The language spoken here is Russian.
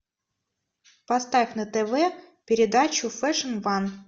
поставь на тв передачу фэшн ван